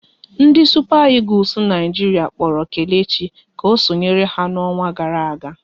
Ndị Supa Egules Naijiria kpọrọ Kelechi ka o sonyere ha n'ọnwa gara aga